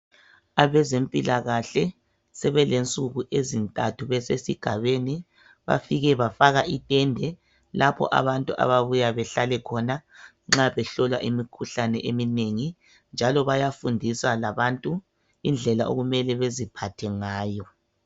Abazempilakahle sebelensuku ezintathu besesigabeni bafike bafaka itende lapho abantu ababuya bahlale khona nxa behlola imikhuhlane eminengi njalo bayafundisa labantu indlela okumele baziphathe ngayo